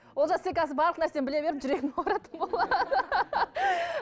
олжас сен қазір барлық нәрсені біле беріп жүрегің ауыратын болады